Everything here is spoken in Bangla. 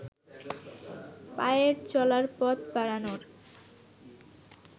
পায়ে চলার পথ বাড়ানোর